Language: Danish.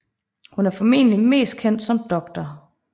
Hun er formentlig mest kendt som Dr